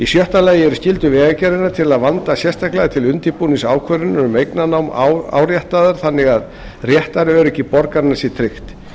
sjötta lagi eru skyldur vegagerðarinnar til að vanda sérstaklega til undirbúnings ákvörðunar um eignarnám áréttaðar þannig að réttaröryggi borgaranna sé tryggt